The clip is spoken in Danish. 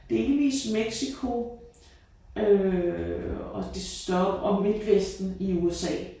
Delvist Mexico øh og det stop og Midtvesten i USA